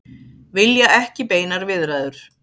Vilja ekki beinar viðræður